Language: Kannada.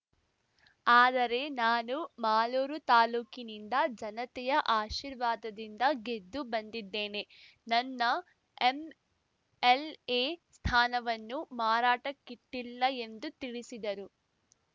ಆದರೆ ನಾನು ಮಾಲೂರು ತಾಲೂಕಿನಿಂದ ಜನತೆಯ ಆಶೀರ್ವಾದದಿಂದ ಗೆದ್ದು ಬಂದಿದ್ದೇನೆ ನನ್ನ ಎಂಎಲ್‌ಎ ಸ್ಥಾನವನ್ನು ಮಾರಾಟಕ್ಕಿಟ್ಟಿಲ್ಲ ಎಂದು ತಿಳಿಸಿದರು